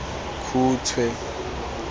khutshwe